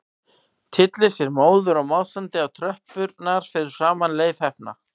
Tyllir sér móður og másandi á tröppurnar fyrir framan Leif heppna.